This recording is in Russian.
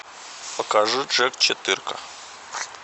покажи джек четырка